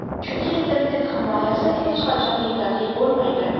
Chunki internet himoyasi hech qachon yetarli bo‘lmaydi.